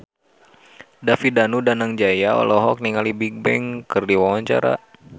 David Danu Danangjaya olohok ningali Bigbang keur diwawancara